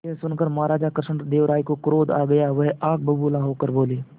यह सुनकर महाराज कृष्णदेव राय को क्रोध आ गया वह आग बबूला होकर बोले